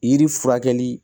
Yiri furakɛli